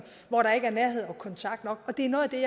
hvor der ikke er nærhed og kontakt nok og det er noget af det